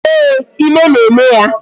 Ee, ime na-eme ya